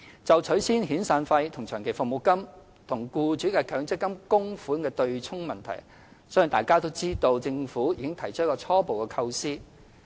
就取消遣散費及長期服務金與僱主的強制性公積金供款的"對沖"問題，相信大家都知道，政府已提出初步構思。